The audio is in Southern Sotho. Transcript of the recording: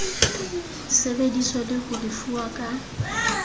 sebeditswe le ho lefuwa ka